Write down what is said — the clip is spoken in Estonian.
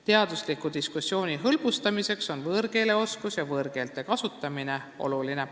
Teadusliku diskussiooni hõlbustamiseks on võõrkeeleoskus ja võõrkeelte kasutamine oluline.